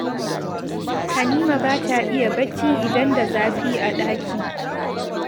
Halima ba ta iya barci idan da zafi a ɗaki